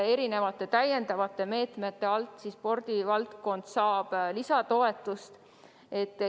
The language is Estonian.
Mitmesuguste täiendavate meetmete kaudu saab spordivaldkond veel lisatoetust.